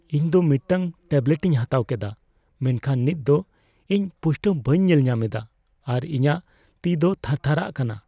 ᱤᱧ ᱫᱚ ᱢᱤᱫᱴᱟᱝ ᱴᱮᱵᱞᱮᱴᱤᱧ ᱦᱟᱛᱟᱣ ᱠᱮᱫᱟ, ᱢᱮᱱᱠᱷᱟᱱ ᱱᱤᱛ ᱫᱚ ᱤᱧ ᱯᱩᱥᱴᱟᱹᱣ ᱵᱟᱹᱧ ᱧᱮᱞᱧᱟᱢ ᱮᱫᱟ ᱟᱨ ᱤᱧᱟᱹᱜ ᱛᱤ ᱫᱚ ᱛᱷᱟᱨᱛᱷᱟᱨᱟᱜ ᱠᱟᱱᱟ ᱾